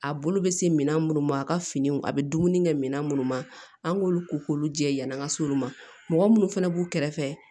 A bolo bɛ se minɛn minnu ma a ka finiw a bɛ dumuni kɛ minɛn minnu ma an k'olu ko k'olu jɛ yann'an ka se olu ma mɔgɔ minnu fana b'u kɛrɛfɛ